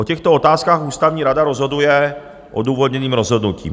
O těchto otázkách Ústavní rada rozhoduje odůvodněným rozhodnutím.